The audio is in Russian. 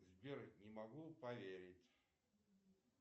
сбер не могу поверить